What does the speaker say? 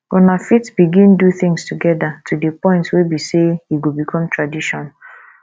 una fit begin do things together to di point wey be sey e go become tradition